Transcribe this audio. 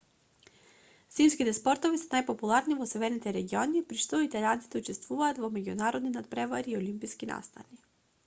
зимските спортови се најпопуларни во северните региони при што италијанците учествуваат во меѓународни натпревари и олимписки настани